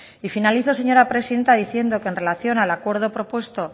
y finalizo señora presidenta diciendo que en relación al acuerdo propuesto